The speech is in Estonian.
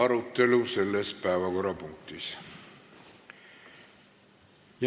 Lõpetan selle päevakorrapunkti arutelu.